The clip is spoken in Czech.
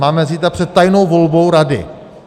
Máme zítra před tajnou volbou rady.